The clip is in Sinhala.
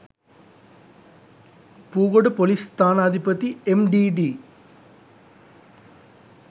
පූගොඩ පොලිස් ස්ථානාධිපති එම්.ඞී.ඞී.